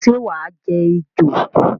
Sé wàá je ejò?